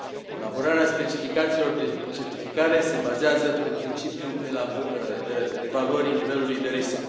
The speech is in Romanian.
Elaborarea specificațiilor de certificare se bazează pe principiul evaluării nivelului de risc.